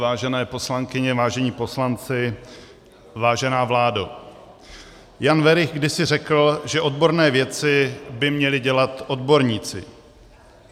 Vážené poslankyně, vážení poslanci, vážená vládo, Jan Werich kdysi řekl, že odborné věci by měli dělat odborníci.